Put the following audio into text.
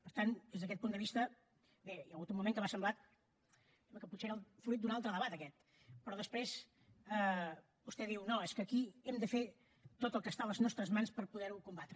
per tant des d’aquest punt de vista bé hi ha hagut un moment que m’ha semblat que potser era el fruit d’un altre debat aquest però després vostè diu no és que aquí hem de fer tot el que està a les nostres mans per poder ho combatre